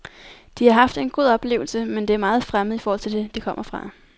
De har haft en god oplevelse, men det er meget fremmed i forhold til det, de kommer fra.